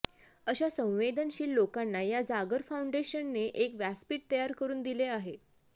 अशा संवेदनशील लोकांना या जागर फाउंडेशनने एक व्यासपीठ तयार करून दिले आहे